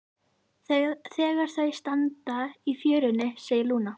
Þegar þau standa í fjörunni segir Lúna